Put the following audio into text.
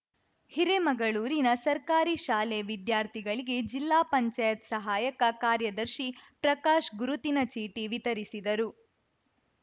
ಹಿರೇಮಗಳೂರಿನ ಸರ್ಕಾರಿ ಶಾಲೆ ವಿದ್ಯಾರ್ಥಿಗಳಿಗೆ ಜಿಲ್ಲಾ ಪಂಚಾಯತ್ ಸಹಾಯಕ ಕಾರ್ಯದರ್ಶಿ ಪ್ರಕಾಶ್‌ ಗುರುತಿನ ಚೀಟಿ ವಿತರಿಸಿದರು